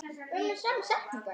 Edda kinkar kolli, alveg viss.